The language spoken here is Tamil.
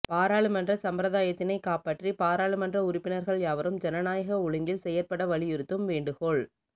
பாராளுமன்ற சம்பிரதாயத்தினைக் காப்பாற்றி பாராளுமன்ற உறுப்பினர்கள் யாவரும் ஜனநாயக ஒழுங்கில் செயற்பட வலியுறுத்தும் வேண்டுகோள்